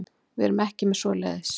Við erum ekki með svoleiðis.